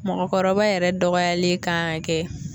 Mɔgɔkɔrɔba yɛrɛ dɔgɔyalen kan ka kɛ